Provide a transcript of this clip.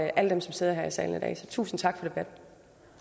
alle dem som sidder her i salen i dag så tusind tak